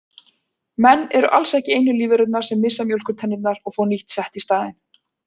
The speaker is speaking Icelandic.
Menn eru alls ekki einu lífverurnar sem missa mjólkurtennurnar og fá nýtt sett í staðinn.